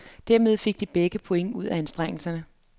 Dermed fik de begge point ud af anstrengelserne.